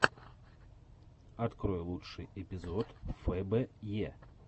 открой лучший эпизод фэ бэ е